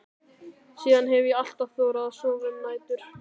Síðan hef ég alltaf þorað að sofa um nætur.